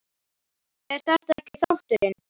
er þetta ekki þátturinn?